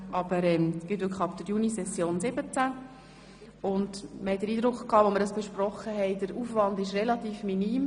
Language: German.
Als wir das besprachen, hatten wir den Eindruck, der Aufwand wäre relativ minim.